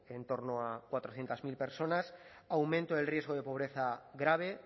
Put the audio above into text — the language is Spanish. en torno a cuatrocientos mil personas aumento del riesgo de pobreza grave